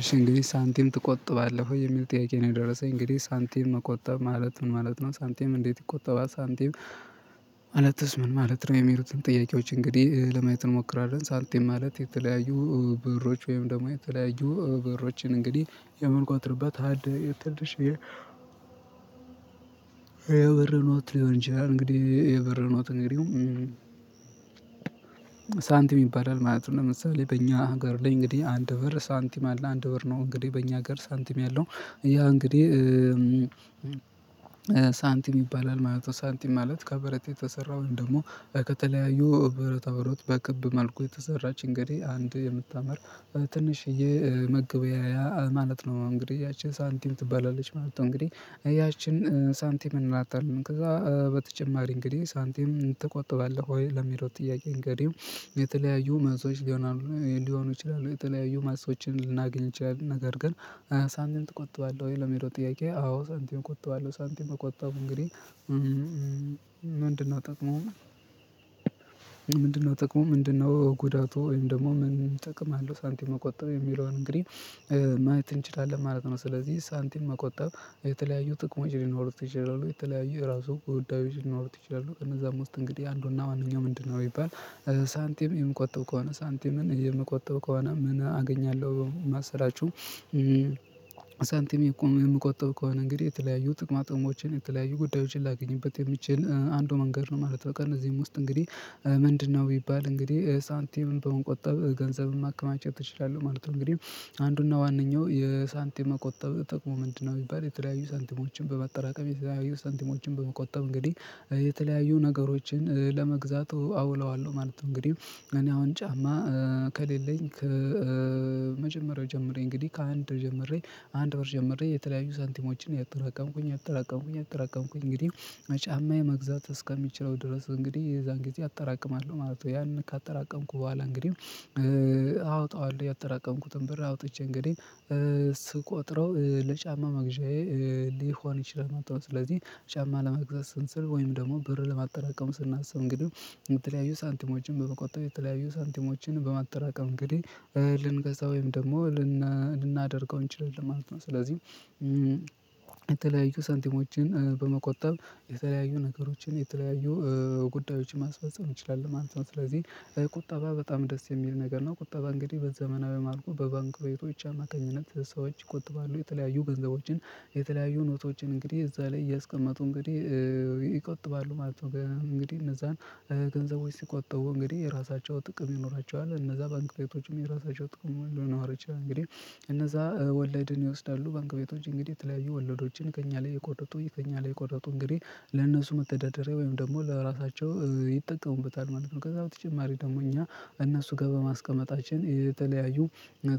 እሺ እንግዲህ ሳንቲም ትቆጥባለህ ወይ የሚል ጥያቄ ነው የደረሰኝ እንግዲህ ሳንቲም መቆጠብ ማለት ምን ማለት ነው ሳንቲም እንዴት ይቆጠባል ሳንቲም? ማለትስ ምን ማለት ነው? የሚሩትን ጥያቄዎች እንግዲህ ለማየት እንሞክራለን ሳንቲም ማለት የተለያዩ ብሮች ወይም ደግሞ የተለያዩ ብሮችን እንግዲህ የምንቆጥርበት ሀድ ኖት ሊሆን ይችላል እንግዲህ የብር ኖት ሳንቲም ይባላል ማለት ነው። ለምሳሌ በእኛ ጋር ላይ እንግዲህ አንድ በር ሳንቲም አለ አንድ በር ነው እንግዲህ በእኛ ሀገር ሳንቲም ያለው ያ እንግዲህ ሳንቲም ይባላል ማለት ነው። ሳንቲም ማለት ከበረት የተሰራ ወይም ደሞ ከተለያዩ ብረታ ብረት በክብ መልኩ የተሰራች እንግዲህ አንድ የምታምር ትንሽዬ መገበያያ ማለት ነው እንግዲህ ያቺ ሳንቲም ትባላለች ማለት ነው። እንግዲህ ያችን ሳንቲም እንላታለን ከዛ በተጨማሪ እንግዲህ ሳንቲም ትቆጥባለህ ወይ ለሚለው ጥያቄ እንግዲህ የተለያዩ መልሶች ሊሆኑ ይችላሉ የተለያዩ መልሶችን ልናገኝ እንችላለን። ነገር ግን ሳንቲም ትቆጥባለህ ወይ ለሚለው ጥያቄ አዎ ሳንቲም እቆጥባለሁ። ሳንቲም መቆጠብ እንግዲህ ምንድነው ጥቅሙ ምንድነው ጉዳቱ ወይም ደሞ ምን ጥቅም አለው ሳንቲም መቆጠብ የሚለውን እንግዲህ ማየት እንችላለን ማለት ነው። ስለዚህ ሳንቲም መቆጠብ የተለያዩ ጥቅሞች ሊኖሩት ይችላሉ የተለያዩ የራሱ ጉዳዮች ሊኖሩት ይችላሉ ከእነዛም ውስጥ እንግዲህ አንዱና ዋነኛው ምንድን ነው ቢባል ሳንቲም የምቆጥብ ከሆነ ሳንቲምን የምቆጥብ ከሆነ ምን አገኛለሁ? ማሰላችሁ ሳንቲም የምቆጥብ ከሆነ እንግዲህ የተለያዩ ጥቅማ ጥቅሞችን የተለያዩ ጉዳዮችን ላገኝበት የሚችል አንዱ መንገድ ነው ማለት ነው። በቃ ከእነዚህም ውስጥ እንግዲህ ምንድነው ቢባል እንግዲህ ሳንቲምን በመቆጠብ ገንዘብ ማከማቸት እችላለሁ ማለት ነው። እንግዲህ አንዱና ዋነኛው የሳንቲም መቆጠብ ጥቅሙ ምንድነው ቢባል የተለያዩ ሳንቲሞችን በመጠራቀም የተለያዩ ሳንቲሞችን በመቆጠብ እንግዲህ የተለያዩ ነገሮችን ለመግዛት አውለዋለሁ ማለት ነው። እንግዲህ እኔ አሁን ጫማ ከሌለኝ ከመጀመሪያው ጀምሬ እንግዲህ ከአንድ ጀምሬ አንድ ብር ጀምሬ የተለያዩ ሰንቲሞችን እያጠራቀምኩኝ እያጠራቀምኩኝ እያጠራቀምኩኝ እንግዲህ ጫማ መግዛት እስከሚችለው ድረስ እንግዲህ የዛን ጊዜ አጠራቅማለሁ ማለት ነው። ያን ካጠራቀምኩ ቡሃላ እንግዲህ አወጣዋለሁ ያጠራቀምኩትን ብር አውጥቼ እንግዲህ ስቆጥረው ለጫማ መግዣዬ ሊሆን ይችላል ማለት ነው። ስለዚህ ጫማ ለመግዛት ስንል ወይም ደግሞ ብር ለማጠራቀም ስናስብ እንግዲህ የተለያዩ ሳንቲሞችን በመቆጠብ የተለያዩ ሳንቲሞችን በማጠራቀም እንግዲህ ልንገዛ ወይም ደግሞ ልናደርገው እንችላለን ማለት ነው። ስለዚህ የተለያዩ ሳንቲሞችን በመቆጠብ የተለያዩ ነገሮችን የተለያዩ ጉዳዮችን ማስፈጸም እንችላለን ማለት ነው። ስለዚህ ቁጠባ በጣም ደስ የሚል ነገር ነው ቁጠባ እንግዲህ በዘመናዊ መልኩ በባንክ ቤቶች አማካኝነት ሰዎች ይቆጥባሉ የተለያዩ ገንዘቦችን የተለያዩ ኖቶችን እንግዲህ እዛ ላይ እያስቀመጡ እንግዲህ ይቆጥባሉ ማለት ነው። እንግዲህ እነዛን ገንዘቦች ሲቆጥቡ እንግዲህ የራሳቸው ጥቅም ይኖራቸዋል እነዛ ባንክ ቤቶችም የራሳቸው ጥቅም ሁሉ ሊኖር ይችላል እንግዲህ እነዛ ወለድን ይወስዳሉ ባንክ ቤቶች እንግዲህ የተለያዩ ወለዶችን ከእኛ ላይ እየቆረጡ ከእኛ ላይ እቆረጡ እንግዲህ ለእነሱ መተዳደሪያ ወይም ደግሞ ለራሳቸው ይጠቀሙበታል ማለት ነው። ከዛ በተጨማሪ ደግሞ እኛ እነሱ ጋር በማስቀመጣችን የተለያዩ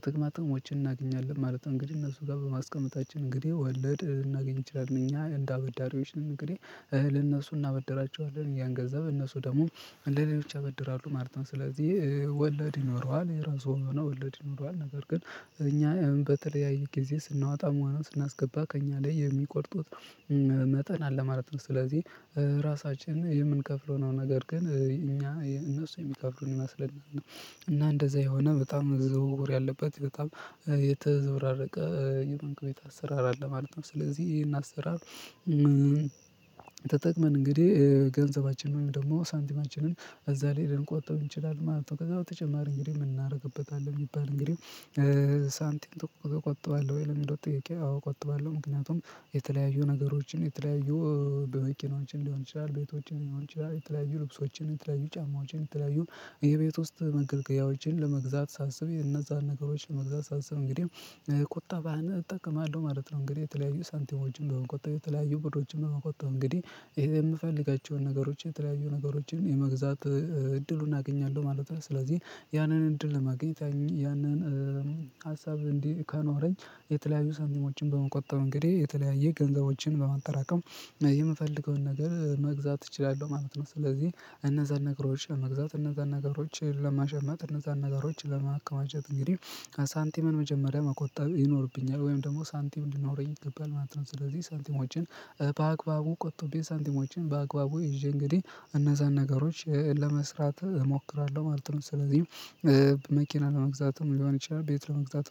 ጥቅማጥቅሞችን እናገኛለን ማለት እንግዲህ እነሱ ጋር በማስቀመጣችን እንግዲህ ወለድ ልናገኝ እችላለን እኛ እንደ አበዳሪዎች ነን እንግዲህ እነሱ እናበድራቸዋለን ያን ገንዘብ እነሱ ደግሞ ለሌሎች ያበድራሉ ማለት ነው። ስለዚህ ወለድ ይኖረዋል የራሱ የሆነ ወለድ ይኖረዋል ነገር ግን እኛ በተለያየ ጊዜ ስናወጣ ሆነ ስናስገባ ከእኛ ላይ የሚቆርጡት መጠን አለ ማለት ነው። ስለዚህ ራሳችን የምንከፍለው ነው ነገር ግን እኛ እነሱ የሚከፍሉን ይመስለናል እና እንደዛ የሆነ በጣም ዝውውር ያለበት በጣም የተዘበራረቀ የባንክ ቤት አሰራር አለ ማለት ነው። ስለዚህ ይሄን አሰራር ተጠቅመን እንግዲህ ገንዘባችን ወይም ደሞ ሳንቲማችንን እዛ ላይ ልንቆጥብ እንችላለን ማለት ነው። ከዛ በተጨማሪ እንግዲህ ምን እናደርግበታለን ቢባል እንግዲህ ሳንቲም ትቆጥባለሁ ወይ ለሚለው ጥያቄ? አዎ እቆጥባለሁ ምክንያቱም የተለያዩ ነገሮችን የተለያዩ መኪናዎችን ሊሆን ይችላል ቤቶችን ሊሆን ይችላል የተለያዩ ልብሶችን የተለያዩ ጫማዎችን የተለያዩ የቤት ውስጥ መገልገያዎችን ለመግዛት ሳስብ እነዛን ነገሮች ለመግዛት ሳስብ እንግዲህ ቁጣን እጠቀማለሁ ማለት ነው። እንግዲህ የተለያዩ ሰንቲሞችን በሆነ ቁጠባ የተለያዩ ብሮችን በመቆጠብ እንግዲህ የምፈልጋቸውን ነገሮች የተለያዩ ነገሮችን የመግዛት እድሉን አገኛለሁ ማለት ነው። ስለዚህ ያንን እድል ለማግኘት ያንን ሀሳብ እንዲህ ከኖረኝ የተለያዩ ሳንቲሞችን በመቆጠብ እንግዲህ የተለያየ ገንዘቦችን በማጠራቀም የምፈልገውን ነገር መግዛት እችላለሁ ማለት ነው። ስለዚህ እነዛን ነገሮች ለመግዛት እነዛን ነገሮች ለመሸመት እነዛን ነገሮች ለማከማቸት እንግዲህ ሳንቲምን መጀመሪያ መቆጠብ ይኖርብኛል ወይም ደሞ ሳንቲም እንዲኖረኝ ይገባል ማለት ነው። ስለዚህ ሳንቲሞችን በአግባቡ ቆጥቤ ሳንቲሞችን በአግባቡ ይዤ እንግዲህ እነዛን ነገሮች ለመስራት እሞክራለሁ ማለት ነው። ስለዚህ መኪና ለመግዛትም ሊሆን ይችላል ቤት ለመግዛት